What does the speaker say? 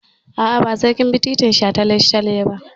A'a, ba sai kin bi titin shataletale ba.